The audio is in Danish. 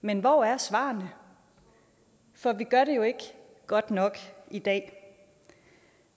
men hvor er svarene for vi gør det jo ikke godt nok i dag